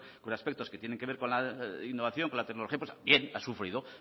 con aspectos que tienen que ver con la innovación con la tecnología ha sufrido